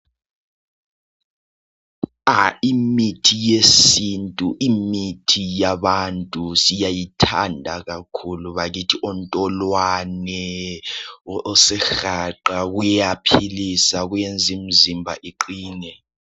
Imithi yesintu ,imithi yabantu siyayithanda kakhulu bakithi .Ontolwane ,osihaqa kuyaphilisa kwenza imizimba iqine .